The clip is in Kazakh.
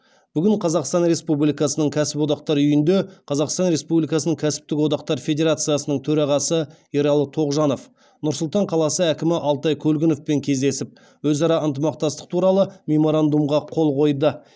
бүгін қазақстан республикасының кәсіподақтар үйінде қазақстан республикасының кәсіптік одақтар федерациясының төрағасы ералы тоғжанов нұр сұлтан қаласы әкімі алтай көлгіновпен кездесіп өзара ынтымақтастық туралы меморандумға қол қойды